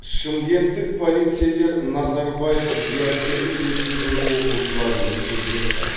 шымкенттік полицейлер назарбаев зияткерлік мектебінің оқушыларымен кездесті